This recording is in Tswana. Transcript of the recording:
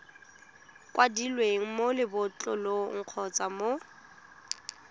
kwadilweng mo lebotlolong kgotsa mo